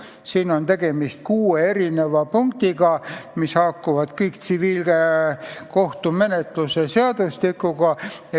Siin on tegemist kuue punktiga, mis haakuvad kõik tsiviilkohtumenetluse seadustikuga.